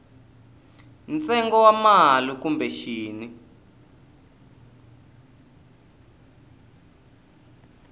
ntsengo wa mali kumbe xin